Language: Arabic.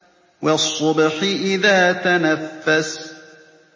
وَالصُّبْحِ إِذَا تَنَفَّسَ